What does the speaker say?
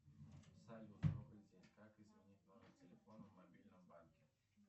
салют добрый день как изменить номер телефона в мобильном банке